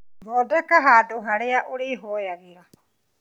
Thondeka handũ harĩa ũrĩhoyagĩra